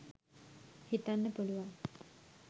හිතන්න පුළුවන්.